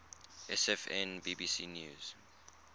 sfn bbc news